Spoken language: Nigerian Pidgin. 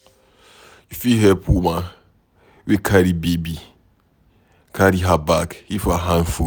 You fit help woman wey carry baby carry her bag if her hand full